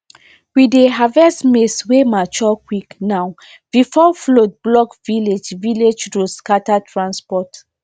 we dey harvest maize wey mature quick now before flood block village village road scatter transport